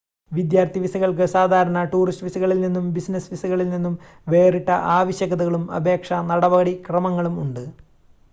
വിദ്യാർത്ഥി വിസകൾക്ക് സാധാരണ ടൂറിസ്റ്റ് വിസകളിൽ നിന്നും ബിസിനസ് വിസകളിൽ നിന്നും വേറിട്ട ആവശ്യകതകളും അപേക്ഷാ നടപടിക്രമങ്ങളും ഉണ്ട്